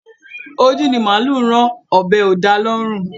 Ojú ni màálù rán, ọ̀bẹ́ ò da lọ́rùn